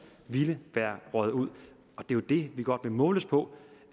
ville være røget ud det vi godt vil måles på